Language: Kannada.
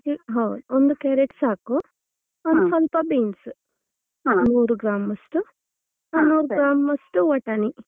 ಅದಕ್ಕೆ ಹ ಒಂದು carrot ಸಾಕು ಸ್ವಲ್ಪ್ ಸ್ವಲ್ಪ beans ನೂರು ಗ್ರಾಂ ಅಷ್ಟು ನೂರು ಗ್ರಾಂ ಅಷ್ಟು ವಟಾಣಿ.